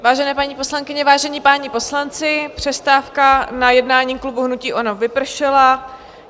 Vážené paní poslankyně, vážení páni poslanci, přestávka na jednání klubu hnutí ANO vypršela.